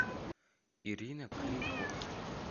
ирина крикова